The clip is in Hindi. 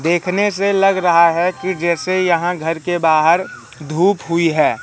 देखने से लग रहा है कि जैसे यहां घर के बाहर धूप हुई है।